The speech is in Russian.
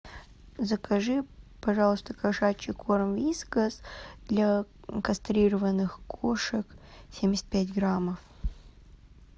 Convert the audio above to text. закажи пожалуйста кошачий корм вискас для кастрированных кошек семьдесят пять граммов